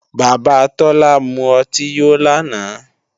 Bàbá Tọ́lá mú ọtí yó lánàá